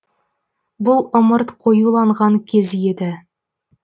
бұл ымырт қоюланған кез еді